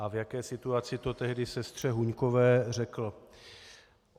A v jaké situaci to tehdy sestře Huňkové řekl?